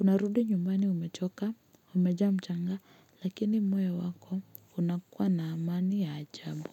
Unarudi nyumbani umechoka, umejaa mchanga, lakini moyo wako unakua na amani ya ajabu.